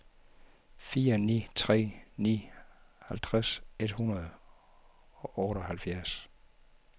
fire ni tre ni halvtreds et hundrede og otteoghalvfjerds